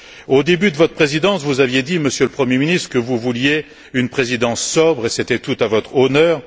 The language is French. Au début de votre Présidence, vous aviez dit, Monsieur le Premier ministre, que vous vouliez une Présidence sobre, et c'était tout à votre honneur.